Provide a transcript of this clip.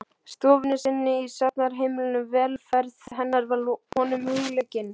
stofunni sinni í safnaðarheimilinu, velferð hennar var honum hugleikin.